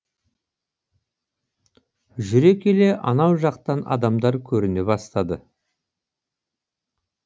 жүре келе анау жақтан адамдар көріне бастады